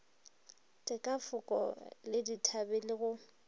dikafoko le dithabe le go